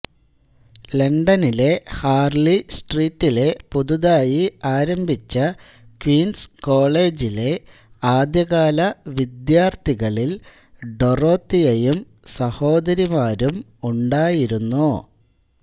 ലണ്ടനിലെ ഹാർലി സ്ട്രീറ്റിലെ പുതുതായി ആരംഭിച്ച ക്വീൻസ് കോളേജിലെ ആദ്യകാല വിദ്യാർത്ഥികളിൽ ഡൊറോത്തിയയും സഹോദരിമാരും ഉണ്ടായിരുന്നു